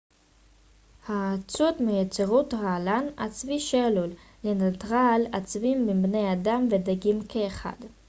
האצות מייצרות רעלן עצבי שעלול לנטרל עצבים בבני אדם ודגים כאחד